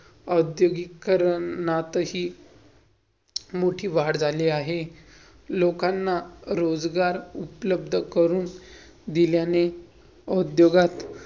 औद्योगीकरणात ही मोठी वाढ झाली आहे. लोकांना रोजगार उपलब्ध करून दिल्याने औद्योगात